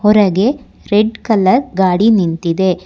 ಹೊರಗೆ red colour ಗಾಡಿ ನಿಂತಿದೆ.